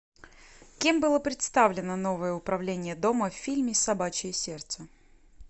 кем было представлено новое управление дома в фильме собачье сердце